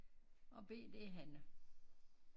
Og B det er Hanne